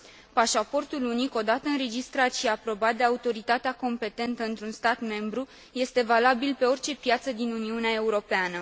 Pașaportul unic, odată înregistrat și aprobat de autoritatea competentă într un stat membru, este valabil pe orice piață din Uniunea Europeană.